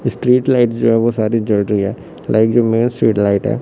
Street light जो है वो सारी जड़ रही है लाइक जो मेरी लाइट है।